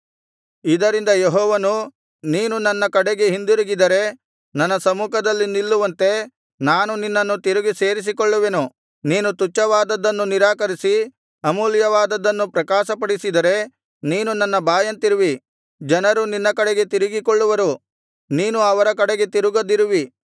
ಇದರಿಂದ ಯೆಹೋವನು ನೀನು ನನ್ನ ಕಡೆಗೆ ಹಿಂದಿರುಗಿದರೆ ನನ್ನ ಸಮ್ಮುಖದಲ್ಲಿ ನಿಲ್ಲುವಂತೆ ನಾನು ನಿನ್ನನ್ನು ತಿರುಗಿ ಸೇರಿಸಿಕೊಳ್ಳುವೆನು ನೀನು ತುಚ್ಛವಾದದ್ದನ್ನು ನಿರಾಕರಿಸಿ ಅಮೂಲ್ಯವಾದದ್ದನ್ನು ಪ್ರಕಾಶಪಡಿಸಿದರೆ ನೀನು ನನ್ನ ಬಾಯಂತಿರುವಿ ಜನರು ನಿನ್ನ ಕಡೆಗೆ ತಿರುಗಿಕೊಳ್ಳುವರು ನೀನು ಅವರ ಕಡೆಗೆ ತಿರುಗದಿರುವಿ